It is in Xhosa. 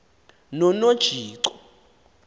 nonojico